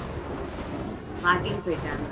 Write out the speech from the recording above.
walking போயிட்டாங்க